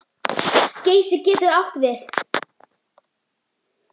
Geysir getur átt við